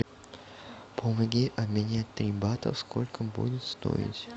помоги обменять три бата сколько будет стоить